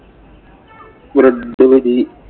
bread പൊരി